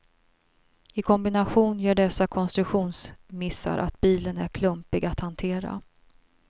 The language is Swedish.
I kombination gör dessa konstruktionsmissar att bilen är klumpig att hantera.